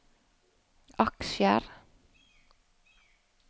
aksjer